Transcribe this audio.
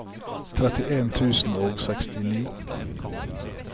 trettien tusen og sekstini